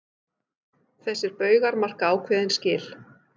Þessir baugar marka ákveðin skil.